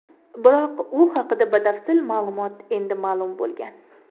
Biroq u haqda batafsil ma’lumot endi ma’lum bo‘lgan.